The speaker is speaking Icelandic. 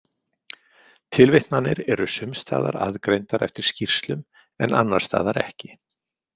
Tilvitnanir eru sumsstaðar aðgreindar eftir skýrslum en annarsstaðar ekki.